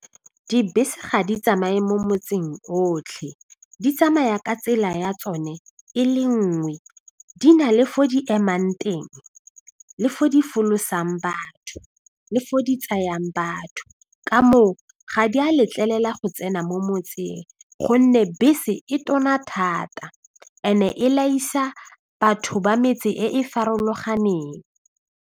Dibese ga di tsamaye mo motseng otlhe, di tsamaya ka tsela ya tsone e le nngwe, di na le fo di emang teng le fo di folosang batho le fo di tsayang batho, ka moo ga di a letlelela go tsena mo motseng gonne bese e tona thata and-e batho ba metse e e farologaneng.